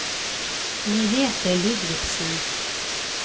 Merethe Ludvigsen